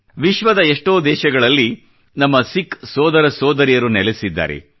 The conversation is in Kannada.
ವಿಶ್ವದ ಎಷ್ಟೋ ದೇಶಗಳಲ್ಲಿ ನಮ್ಮ ಸಿಖ್ ಸೋದರಸೋದರಿಯರು ನೆಲೆಸಿದ್ದಾರೆ